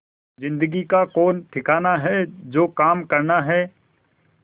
जिंदगी का कौन ठिकाना है जो काम करना है